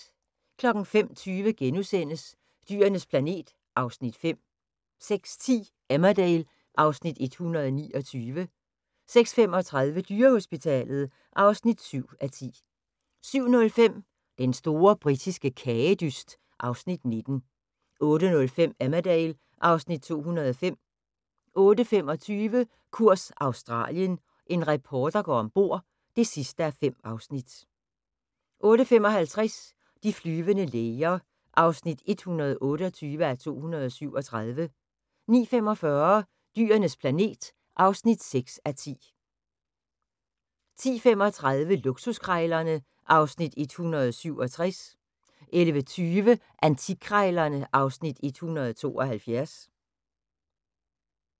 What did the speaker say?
05:20: Dyrenes planet (Afs. 5)* 06:10: Emmerdale (Afs. 129) 06:35: Dyrehospitalet (7:10) 07:05: Den store britiske kagedyst (Afs. 19) 08:05: Emmerdale (Afs. 205) 08:25: Kurs Australien – en reporter går ombord (5:5) 08:55: De flyvende læger (128:237) 09:45: Dyrenes planet (6:10) 10:35: Luksuskrejlerne (Afs. 167) 11:20: Antikkrejlerne (Afs. 172)